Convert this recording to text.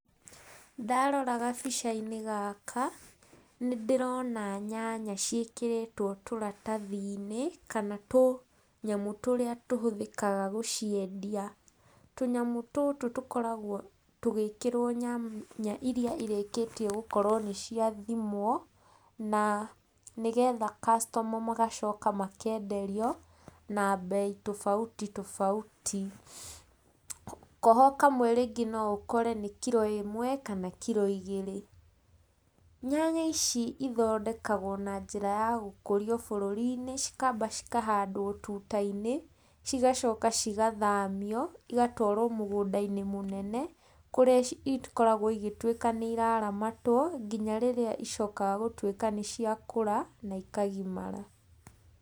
Ndarora gabica-inĩ gaka, nĩndĩrona nyanya ciĩkĩrĩtwo tĩratathi-inĩ, kana tũnyamũ tũrĩa tũhũthĩkaga gũciendia. Tũnyamũ tũtũ tũkoragwo tũgĩkĩrwo nyanya iria irĩkĩtie gũkorwo nĩciathimwo, na nĩgetha customer magacoka makenderio, na mbei tofauti tofauti. Koho kamwe rĩngĩ no ũkore nĩ kiro ĩmwe, kana kiro igĩrĩ. Nyanya ici ithondekagwo na njĩra ya gũkũrio bũrũri-inĩ, cikamba cikahandwo tuta-inĩ, cigacoka cigathamio, igatwarwo mũgũnda-inĩ mũnene, kũrĩa ikoragwo igĩtuĩka nĩiraramatwo, nginya rĩrĩa icokaga gũtuĩka nĩciakũra, na ikagimara.